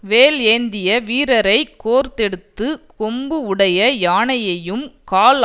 வேல் ஏந்திய வீரரை கோர்த்தெடுத்த கொம்பு உடைய யானையையும் கால்